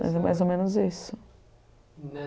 Mas é mais ou menos isso.